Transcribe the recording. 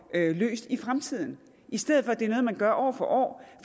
løst i fremtiden i stedet for at det er noget man gør år for år